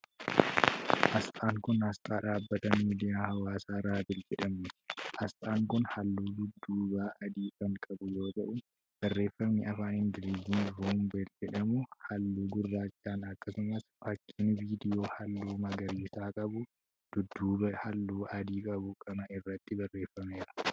Asxaan kun, asxaa dhaabbata miidiyaa hawaasaa Raambil jedhamuuti. Asxaan kun haalluu dudduubaa adii kan qabu yoo ta'u, barreeffamni afaan Ingiliizii rumble jedhamu haalluu gurraachan akkasumas fakkiin viidiyoo haalluu magariisa qabu dudduuba haalluu adii qabu kana irratti barreeffameera.